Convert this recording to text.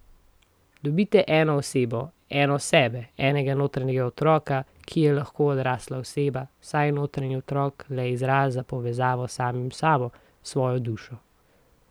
Dobite eno osebo, eno sebe, enega notranjega otroka, ki je lahko odrasla oseba, saj je notranji otrok le izraz za povezavo s samim sabo, s svojo dušo.